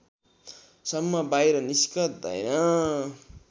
सम्म बाहिर निस्कँदैन